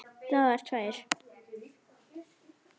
Dagar tveir